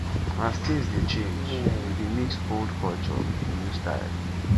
as tins dey change we dey mix old culture wit new style